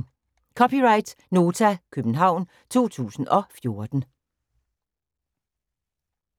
(c) Nota, København 2014